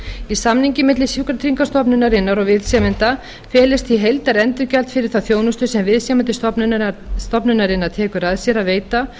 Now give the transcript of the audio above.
í samningi milli sjúkratryggingastofnunarinnar og viðsemjanda felist því heildarendurgjald fyrir þá þjónustu sem viðsemjandi stofnunarinnar tekur að sér að veita